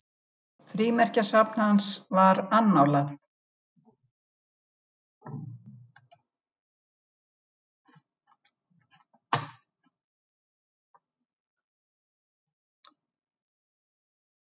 Frímerkjasafn hans var annálað.